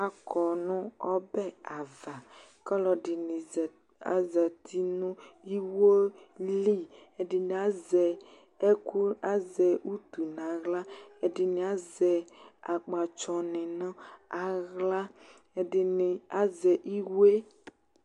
Akɔ nʋ ɔbɛ ava ; kɔlɔdɩnɩ azati nʋ iwo liƐdɩnɩ azɛ ɛkʋ utu naɣla, ɛdɩnɩ azɛ akpatsɔ nɩ nʋ aɣla, ɛdɩnɩ azɛ iwe